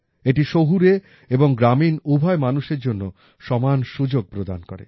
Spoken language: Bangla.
এটি শহুরে এবং গ্রামীণ উভয় মানুষের জন্য সমান সুযোগ প্রদান করে